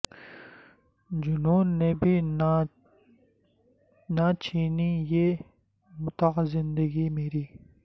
جنون نے بھی نہ چھینی یہ متاع زندگی میری